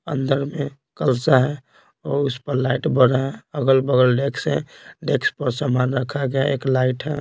अंदर में कलसा है और उस पर लाइट बढ़ रहा है अगल-बगल डेक्स है डेक्स पर सामान रखा गया एक लाइटम है।